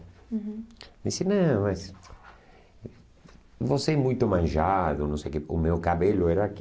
Uhum. Disse, não, mas você é muito manjado, não sei o que, o meu cabelo era aqui.